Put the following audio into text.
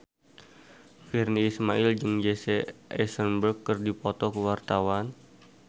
Virnie Ismail jeung Jesse Eisenberg keur dipoto ku wartawan